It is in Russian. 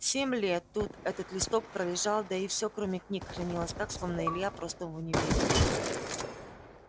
семь лет тут этот листок пролежал да и всё кроме книг хранилось так словно илья просто в универе